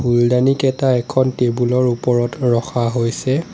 ফুলদানিকেটা এখন টেবুল ৰ ওপৰত ৰখা হৈছে।